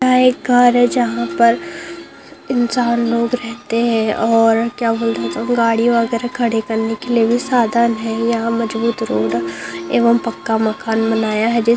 यहाँ एक घर है जहाँ पर इंसान लोग रहते है और क्या बोलते है रहे थे हम गाड़ी वगैरा खड़ी करने के लिए भी साधन है यहाँ मजबूत रोड एवम पक्का मकान बनाया है जी --